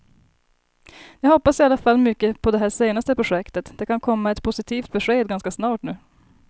Jag hoppas i alla fall mycket på det här senaste projektet, det kan komma ett positivt besked ganska snart nu.